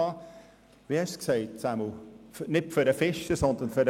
Krähenbühl hat den Köder erwähnt, der dem Fisch schmecken müsse.